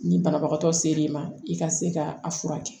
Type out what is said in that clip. Ni banabagatɔ se l'i ma i ka se ka a furakɛ